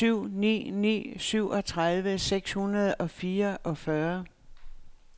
nul syv ni ni syvogtredive seks hundrede og fireogfyrre